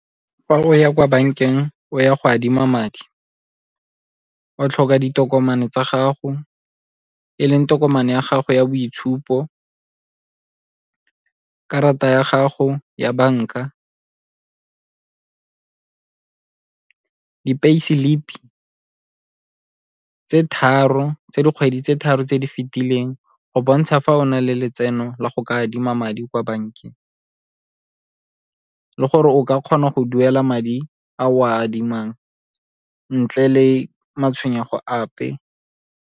Fa o ya kwa bankeng o ya go adima madi, o tlhoka ditokomane tsa gago e leng tokomane ya gago ya boitshupo, karata ya gago ya banka, di-pay slip-i tse tharo, tsa dikgwedi tse tharo tse di fetileng go bontsha fa o na le letseno la go ka adima madi kwa bankeng le gore o ka kgona go duela madi a o a adimang ntle le matshwenyego ape.